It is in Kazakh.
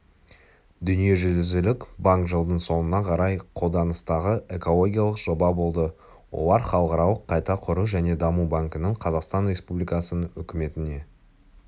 дүниежүзілік банк жылдың соңына қарай қолданыстағы экологиялық жоба болды олар халықаралық қайта құру және даму банкінің қазақстан республикасының үкіметіне